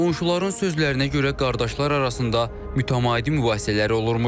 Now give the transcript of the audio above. Qonşuların sözlərinə görə qardaşlar arasında mütəmadi mübahisələr olurmuş.